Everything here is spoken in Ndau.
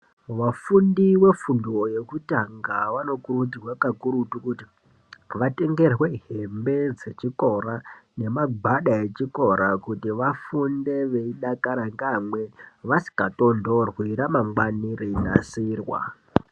Vafundi vefundo yekutanga vanokurudzirwa kakurutu kuti vatengerwe hembe dzechikora nemagwada echikora kuti vafunde veidakara ngeamweni vasingatonhorwi ramangwani reinasirwa.